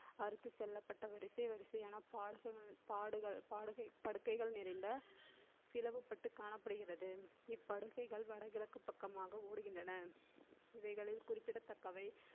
அறுத்து செல்லப்பட்ட வரிசை வரிசையை பாடுகள் படுக்கைகள் நிறைந்த பிளவுபட்டு காணப்படுகிறது இப்படுக்கைகள் வடகிழக்கு பக்கமாக ஓடுகின்றன இவைகளில் குறிப்பிடத்தக்கவை